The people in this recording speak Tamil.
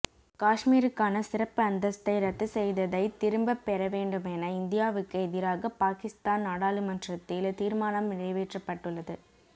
காஷ்மீருக்கான சிறப்பு அந்தஸ்தை ரத்து செய்ததை திரும்பபெற வேண்டுமென இந்தியாவுக்கு எதிராக பாகிஸ்தான் நாடாளுமன்றத்தில் தீர்மானம் நிறைவேற்றப்பட்டுள்ளது